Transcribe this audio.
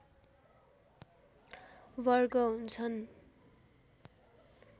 वर्ग हुन्छन्